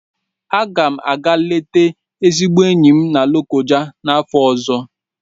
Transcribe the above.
A ga m àgá leta ezigbo enyi m na Lokoja n'afọ ọzọ